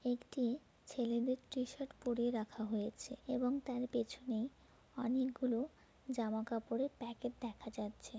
একটি ছেলেদের টি-শার্ট পরিয়ে রাখা হয়েছে এবং তার পেছনে অনেকগুলো জামা কাপড়ের প্যাকেট দেখা যাচ্ছে।